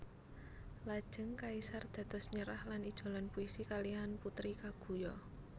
Lajeng kaisar dados nyerah lan ijolan puisi kalihan Putri Kaguya